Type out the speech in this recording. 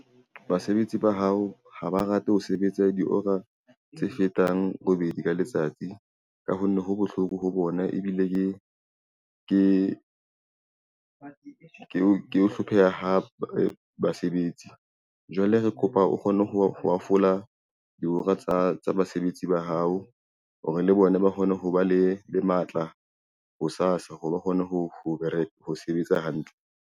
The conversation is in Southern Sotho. Basebetsi ba hao ha ba rate ho sebetsa dihora tse fetang robedi ka letsatsi ka ho nne ho bohloko ho bona, ebile ke hlopheha hape basebetsi. Jwale re kopa o kgone ho hafola dihora tsa basebetsi ba hao hore le bona ba kgone ho ba le matla ho sasa hore ba kgone ho bereka, ho sebetsa hantle.